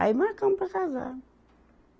Aí marcamos para casar.